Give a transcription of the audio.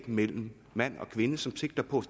mellem mand og kvinde som sigter på